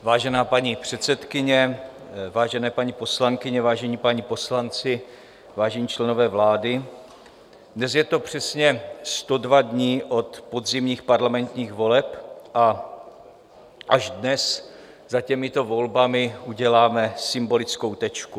Vážená paní předsedkyně, vážené paní poslankyně, vážení páni poslanci, vážení členové vlády, dnes je to přesně 102 dní od podzimních parlamentních voleb a až dnes za těmito volbami uděláme symbolickou tečku.